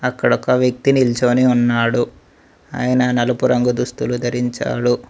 అక్కడొక వ్యక్తి నిల్చోని ఉన్నాడు ఆయన నలుపు రంగు దుస్తులు ధరించాడు.